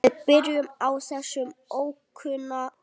Við byrjum á þessum ókunna.